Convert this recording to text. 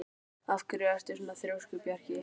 Af hverju ertu svona þrjóskur, Bjarki?